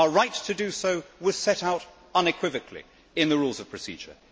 Our right to do so was set out unequivocally in the Rules of Procedure.